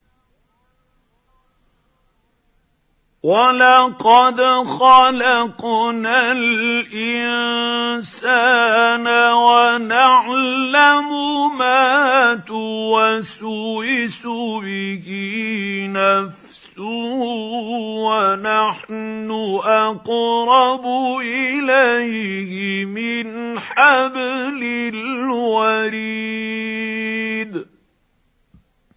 وَلَقَدْ خَلَقْنَا الْإِنسَانَ وَنَعْلَمُ مَا تُوَسْوِسُ بِهِ نَفْسُهُ ۖ وَنَحْنُ أَقْرَبُ إِلَيْهِ مِنْ حَبْلِ الْوَرِيدِ